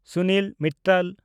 Sunil Mittal